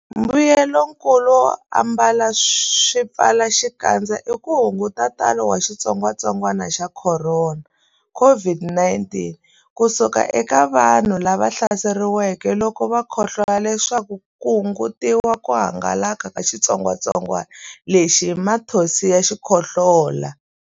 Mbuyelonkulu wo ambala swipfalaxikandza i ku hunguta ntalo wa xitsongwantsongwana xa Khorona, COVID-19, ku suka eka vanhu lava hlaseriweke loko va khohlola leswaku ku hungutiwa ku hangalaka ka xitsongwantsongwana lexi hi mathonsi ya xikhohlola.